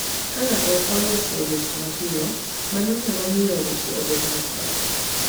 Ka ng'ato ok oloso weche mapiyo, mano nyalo miyo weche obed matek.